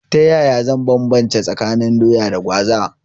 Ta yaya zan banbance tsakanin Doya da Gwaza?